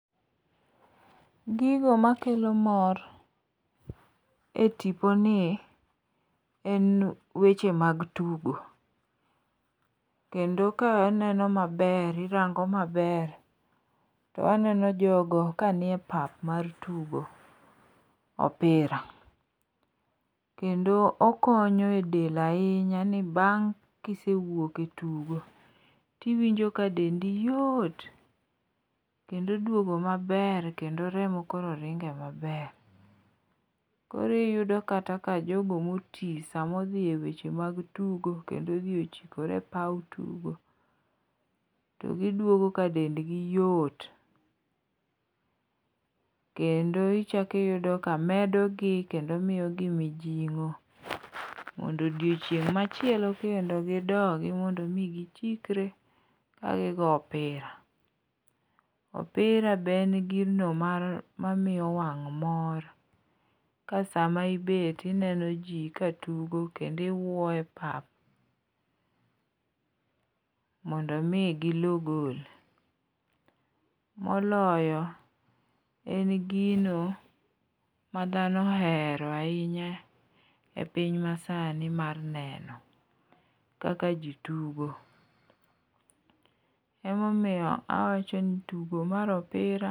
Gigo makelo mor e tiponi en weche mag tugo, kendo kaneno maber, irango maber, to aneno jogo kanie pap mar tugo opira, kendo konyo e del ahinya ni bang' kisewuok e tugo, tiwinjo kadendi yot kendo odwogo maber kendo remo koro ringe maber, koro iyudo kata ka jogo moti sama odhi e weche mag tugo kendo odhi ochikoree paw tugo, to gidwogo ka dendgi yot kendo ichako iyudo ka medogi kendo miyogi mijing'o mondo odiochieng' machielo kendo gidogi mondo omi gichikre kagigo opira. Opira be en gino mamiyo wang' mor ka sama ibet ineno ji ka tugo kendo iwuo e pap, mondo omi gilo goal. Moloyo en gino madhano ohero ahinya e piny masani mar neno kaka ji tugo. Emomiyo awacho ni tugo mar opira.